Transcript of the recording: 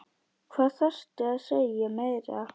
Hvað þarftu að segja meira?